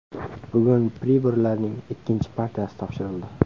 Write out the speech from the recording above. Bugun priborlarning ikkinchi partiyasi topshirildi.